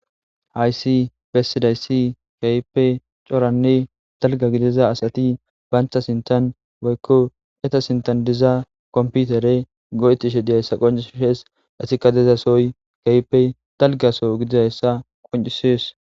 haysi bessidaysi kahippe coranne dalga gidiza asati bayntha sinthan woykko eta sintan diza komputere go7etishe diyayssa qonci h shees asi kadezasoy kahipe dalgaso gidizayssa qoncisees